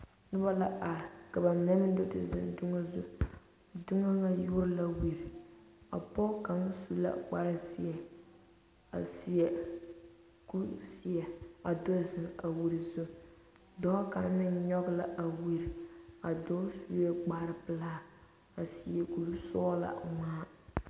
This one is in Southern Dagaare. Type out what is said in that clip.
Noba la are ka ba mine meŋ do te zeŋ doŋa zu a doŋa ŋa yuori la wiri a pɔge kaŋa su la kpare zeɛ a seɛ kuri zeɛ a do zeŋ a wiri zu dɔɔ kaŋ meŋ nyɔge la a wiri a dɔɔ sue kpare pelaa a seɛ kuri sɔglaa ŋmaa.